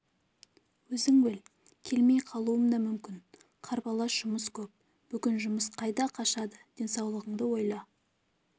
өзің біл келмей қалуым да мүмкін қарбалас жұмыс көп бүгін жұмыс қайда қашады денсаулығыңды ойла